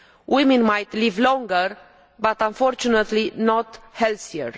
Women might live longer, but unfortunately not healthier.